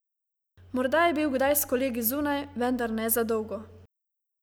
Morda je bil kdaj s kolegi zunaj, vendar ne za dolgo.